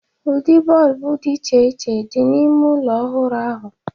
Ụdị bọlbụ dị iche iche dị n’ime ụlọ ọhụrụ ahụ.